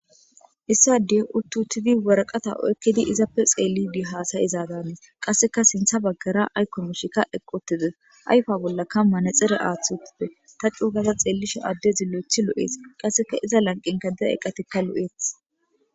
Issadey uttuuttidi waraqata oykkidi izappe xeelli di haasay izaaganis qasseka sintha baggara aykomoshikka eqqotide ayfa bollakka manexere aathth uttippe ta cuugaza xeellisha adde zilo7ethi lo'ees qasseka iza lanqinka dida eqqatikka lu'eeth.